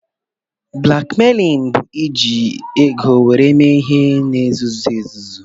Blakmeilin bụ iji ego were mee ihe na-nzuzo